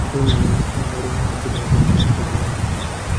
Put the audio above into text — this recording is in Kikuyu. Andũ nĩ merutaga ũrĩa mangĩthondeka ũtũũro wao.